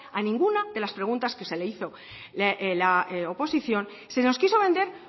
a ninguna de la preguntas que se le hizo la oposición se nos quiso vender